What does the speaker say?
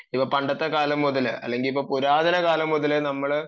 ഇപ്പം പന്ദനത്തെ കാലം മുതൽ അല്ലെങ്കിൽ പുരാതന കാലം മുതൽ നമ്മള്